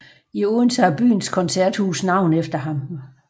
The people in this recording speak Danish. I Odense har byens koncerthus navn efter ham